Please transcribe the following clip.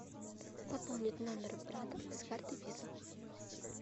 пополнить номер брата с карты виза